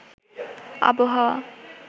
আবহাওয়া